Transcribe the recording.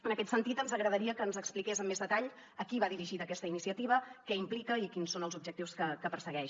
en aquest sentit ens agradaria que ens expliqués amb més detall a qui va dirigida aquesta iniciativa què implica i quins són els objectius que persegueix